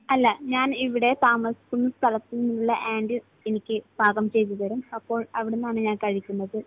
അല്ല. ഞാൻ ഇവിടെ താമസിക്കുന്ന സ്ഥലത്തുനിന്നുള്ള ആന്റി എനിക്ക് പാകം ചെയ്തു തരും. അപ്പോൾ അവിടുന്നാണ് ഞാൻ കഴിക്കുന്നത്.